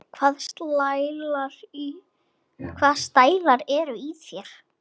Hvaða stælar eru í þér?